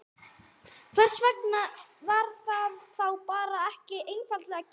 Hvers vegna var það þá bara ekki einfaldlega gert?